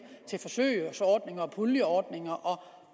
til forsøgsordninger puljeordninger og